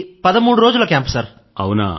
అది పదమూడు రోజుల క్యాంప్ సర్